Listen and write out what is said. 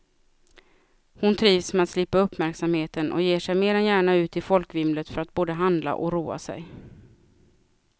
Hon trivs med att slippa uppmärksamheten och ger sig mer än gärna ut i folkvimlet för att både handla och roa sig.